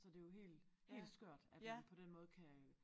Så det jo helt helt skørt at man på den måde kan og